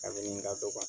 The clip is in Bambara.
Kabini ka dɔgɔ